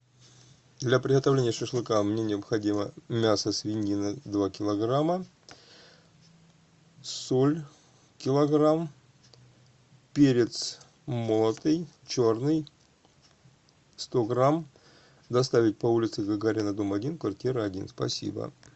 для приготовления шашлыка мне необходимо мясо свинина два килограмма соль килограмм перец молотый черный сто грамм доставить по улице гагарина дом один квартира один спасибо